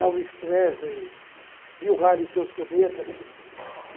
Elvis Presley, Bill Hale e seus Cometas.